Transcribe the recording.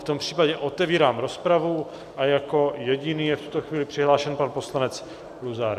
V tom případě otevírám rozpravu a jako jediný je v tuto chvíli přihlášen pan poslanec Luzar.